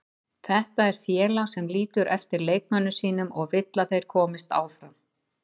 Þetta er félag sem lítur eftir leikmönnum sínum og vill að þeir komist áfram.